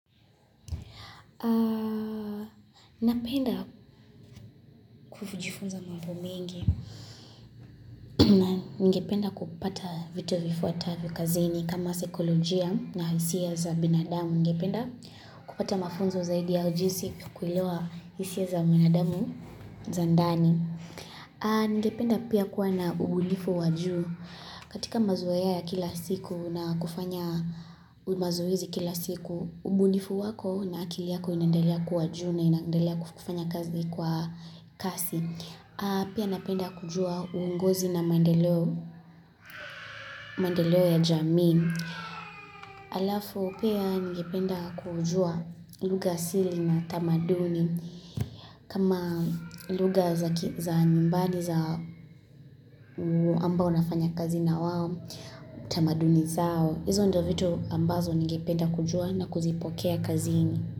Napenda kujifunza mambo mengi. Ningependa kupata vitu vifuatavyo kazini kama saikolojia na hisia za binadamu, ningependa kupata mafunzo zaidi ya jinsi ya kuzielewa hisia hizo za ndani. Ningependa pia kuwa na ubunifu wa juu katika mazoea ya kila siku na kufanya mazoezi kila siku, ubulifu wako na akili yako inaendelea kuwa juu na inandelea kufanya kazi kwa kasi. Pia napenda kujua uongozi na maendeleo ya jamii. Alafu pia ningependa kujua lugha asili na tamaduni, kama lugha za nyumbani za wale ambao nafanya kazi na wao. Tamaduni zao, hizo ndizo vitu ambazo ningependa kujua na kuzipokea kazini.